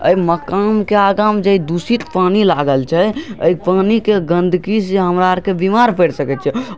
ए मकान के अगा में जे दूषित पानी लागल छै ए पानी के गंदगी से हमरा आर के बीमार पड़ सके छीये